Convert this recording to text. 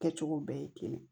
Kɛcogo bɛɛ ye kelen ye